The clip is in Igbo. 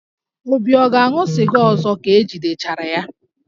Obi ga-aṅụ sịga ọzọ ka e jidechara ya?